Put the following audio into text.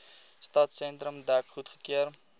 stadsentrum dek goedgekeur